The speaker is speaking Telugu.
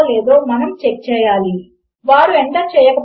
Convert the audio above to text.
ప్రస్తుతము అక్కడ ఏమీ విలువ లేదు - కనుక దాని విలువ తప్పు అవుతుంది